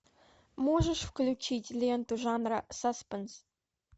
можешь включить ленту жанра саспенс